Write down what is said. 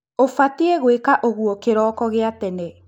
Ũbatie gwĩka ũguo kĩroko gia tene